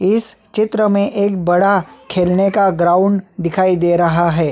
इस चित्र में एक बड़ा खेलने का ग्राउंड दिखाई दे रहा है ।